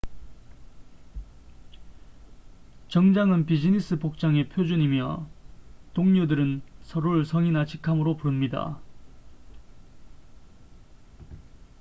정장은 비즈니스 복장의 표준이며 동료들은 서로를 성이나 직함으로 부릅니다